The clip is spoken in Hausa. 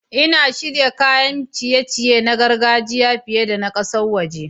Ina shirya kayan ciye-ciye na gargajiya fiye da na ƙasashen waje.